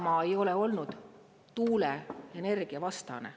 Isamaa ei ole olnud tuuleenergia vastane.